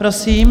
Prosím.